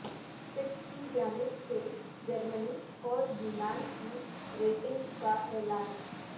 Fitch کی جانب سے جرمنی اور یونان کی ریٹنگ کا اعلان